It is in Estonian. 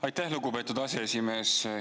Aitäh, lugupeetud aseesimees!